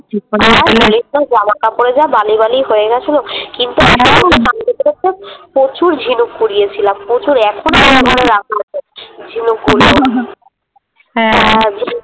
জামাকাপড়ে যা বালি বালি হয়ে গেছিলো । কিন্তু সমুদ্রে স্নান করতে করতে প্রচুর ঝিনুক কুড়িয়েছিলাম। প্রচুর এখনো আমার রাখা আছে ঝিনুক গুলো ।